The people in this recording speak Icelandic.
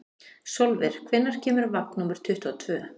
Sólver, hvenær kemur vagn númer tuttugu og tvö?